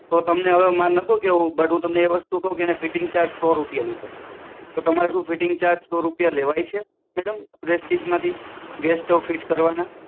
તો તમને હવે મારે નહોતું કેવું પણ હવે તમને કહું છુ કે એણે ફીટીંગ ચાર્જ સો રૂપિયા લીધો તો શું તમારે ફીટીંગ ચાર્જ લેવાય છે મેડમ પ્રેસ્ટીજમાંથી ગેસ સ્ટોવ ફીટ કરવાના